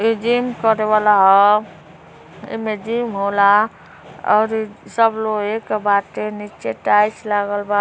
इ जिम करे वाला ह। एमे जिम होला और सब लोहे का बाटे। नीचे टाइल्स लगलबा।